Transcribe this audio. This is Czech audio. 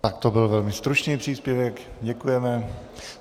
Tak to byl velmi stručný příspěvek, děkujeme.